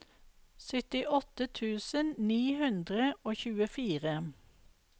syttiåtte tusen ni hundre og tjuefire